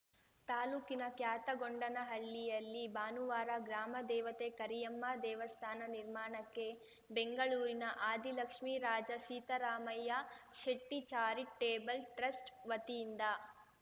ತಾಲೂಕಿನ ಕ್ಯಾತಗೊಂಡನಹಳ್ಳಿಯಲ್ಲಿ ಭಾನುವಾರ ಗ್ರಾಮ ದೇವತೆ ಕರಿಯಮ್ಮ ದೇವಸ್ಥಾನ ನಿರ್ಮಾಣಕ್ಕೆ ಬೆಂಗಳೂರಿನ ಆದಿಲಕ್ಷ್ಮಿ ರಾಜ ಸೀತಾರಾಮಯ್ಯ ಶೆಟ್ಟಿಚಾರಿಟೇಬಲ್‌ ಟ್ರಸ್ಟ್‌ ವತಿಯಿಂದ